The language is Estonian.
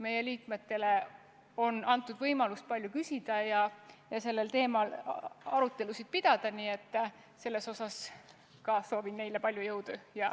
Meie liikmetele on antud võimalus palju küsida ja sel teemal arutelusid pidada, nii soovin ka neile palju jõudu.